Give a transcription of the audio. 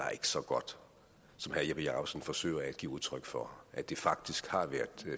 så godt som herre jeppe jakobsen forsøger at give udtryk for at det faktisk har været